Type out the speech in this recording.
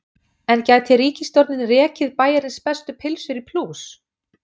En gæti ríkisstjórnin rekið Bæjarins bestu pylsur í plús?